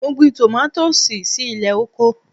Mo gbin tòmátòsì si ilẹ̀ oko.